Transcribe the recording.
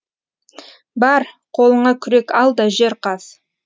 бар қолыңа күрек ал да жер қаз